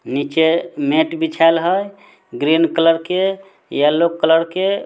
नीचे मेट बिछाल हई ग्रीन कलर के येलो कलर के--